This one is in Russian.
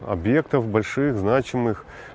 объектов больших значимых